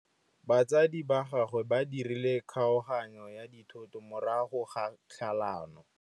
Batsadi ba gagwe ba dirile kgaoganyô ya dithoto morago ga tlhalanô.